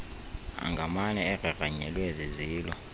angamane egrangranyelwe zizilo